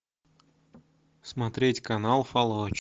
смотреть канал фалоч